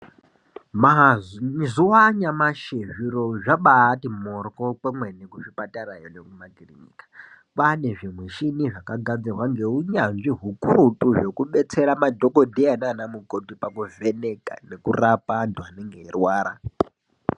Mazuva anyamashi zviro zvabaatimoryo kwemene kuzvipatara iyo nemumakiriniki .Kwane zvimichini zvakagadzirwa ngehunyanzvi hukurututu zvekudetsera madhokoteya nana mukoti pakuvheneka nekurapa antu anorwara